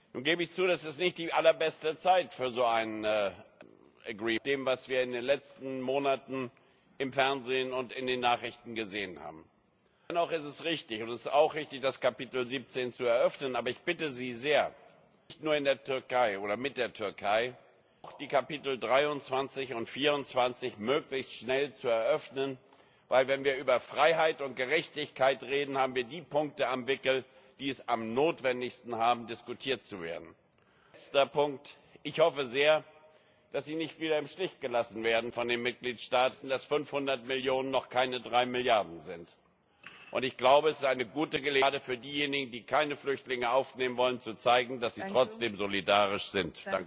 Nun gebe ich zu, dass es nicht die allerbeste Zeit für so ein ist, nach dem, was wir in den letzten Monaten im Fernsehen und in den Nachrichten gesehen haben. Dennoch ist es richtig und es ist auch richtig, das Kapitel 17 zu eröffnen, aber ich bitte Sie sehr nicht nur in der Türkei oder mit der Türkei auch die Kapitel 23 und 24 möglichst schnell zu eröffnen, denn wenn wir über Freiheit und Gerechtigkeit reden, haben wir die Punkte am Wickel, die es am notwendigsten haben, diskutiert zu werden. Letzter Punkt Ich hoffe sehr, dass Sie nicht wieder im Stich gelassen werden von den Mitgliedstaaten, weil wir ja alle wissen, dass 500 Millionen noch keine drei Milliarden sind. Und ich glaube, es ist gerade für diejenigen, die keine Flüchtlinge aufnehmen wollen, eine gute Gelegenheit zu zeigen, dass sie trotzdem solidarisch sind.